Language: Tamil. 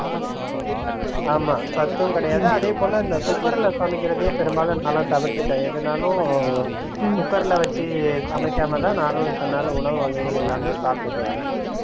ஆமாம் சத்தும் கிடையாது அதே போல இந்த Cooker ல சமைக்கிறதயே பெரும்பாலும் நான்லாம் தவிர்த்துவிட்டேன் எதுனாலும் Cooker ல வைச்சி சமைக்காம தான் நானும் இத்தன நாள் உணவு வகைகள் எல்லாமே சாப்டுட்டு வரேன்